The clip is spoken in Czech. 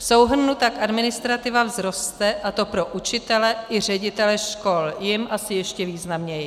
V souhrnu tak administrativa vzroste, a to pro učitele i ředitele škol, jim asi ještě významněji.